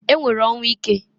E nwere ọnwụ ike.